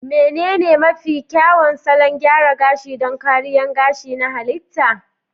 Menene mafi kyawun salon gyara gashi don kariyar gashi na halitta?